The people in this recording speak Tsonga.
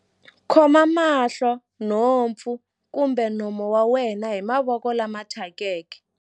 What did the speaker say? khoma mahlo, nhompfu kumbe nomo wa wena hi mavoko lama thyakeke.